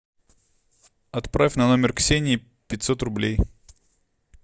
отправь на номер ксении пятьсот рублей